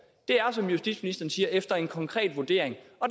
er som justitsministeren siger efter en konkret vurdering og